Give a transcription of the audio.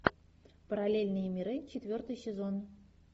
параллельные миры четвертый сезон